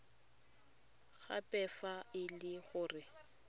gape fa e le gore